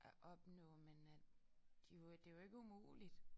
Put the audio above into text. At opnå men at det jo det jo ikke umuligt